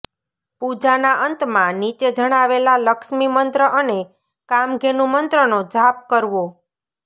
પૂજાના અંતમાં નીચે જણાવેલા લક્ષ્મી મંત્ર અને કામધેનુ મંત્રનો જાપ કરવો